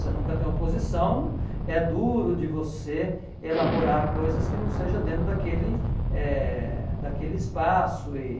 Você nunca tem oposição, é duro de você elaborar coisas que não sejam dentro daquele eh daquele espaço. E